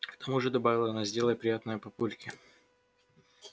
к тому же добавила она сделай приятное папульке